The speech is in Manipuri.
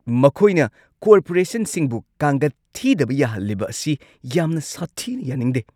ꯃꯈꯣꯏꯅ ꯀꯣꯔꯄꯣꯔꯦꯁꯟꯁꯤꯡꯕꯨ ꯀꯥꯡꯒꯠ ꯊꯤꯗꯕ ꯌꯥꯍꯜꯂꯤꯕ ꯑꯁꯤ ꯌꯥꯝꯅ ꯁꯥꯊꯤꯅ ꯌꯥꯅꯤꯡꯗꯦ ꯫